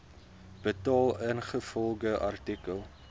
betaal ingevolge artikel